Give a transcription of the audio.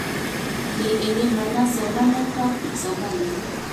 Ni, eng imana somanetab kipsomanink